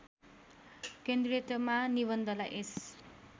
केन्द्रीयतामा निबन्धलाई यस